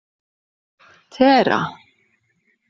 Tera